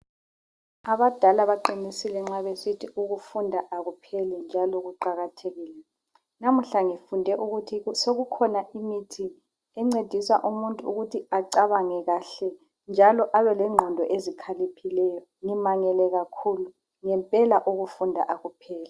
Abadala baqinisile nxa besithi ukufunda akupheli njalo kuqakathekile, namuhla ngifunde ukuthi sokukhona imithi encedisa umuntu ukuthi acabange kahle njalo abelengqondo ezikhaliphileyo ngimangele kakhulu, ngempela ukufunda akupheli.